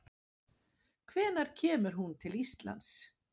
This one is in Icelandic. Hvenær kemur hún til Íslands?